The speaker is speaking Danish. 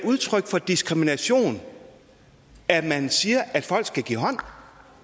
udtryk for diskrimination at man siger at folk skal give hånd